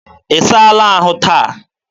ị saala ahụ taa?